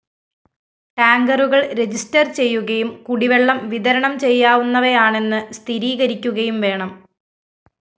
ടാങ്കറുകള്‍ register ചെയ്യുകയും കുടിവെളളം വിതരണം ചെയ്യാവുന്നവയാണെന്ന് സ്ഥിരീകരിക്കുകയും വേണം